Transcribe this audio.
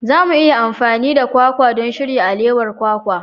Za mu iya amfani da kwakwa don shirya alewar kwakwa.